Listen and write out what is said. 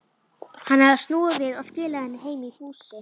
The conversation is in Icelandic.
Hann hafði snúið við og skilað henni heim í fússi.